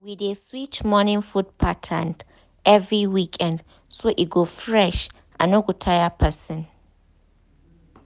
we dey switch morning food pattern every weekend so e go fresh and no go tire person.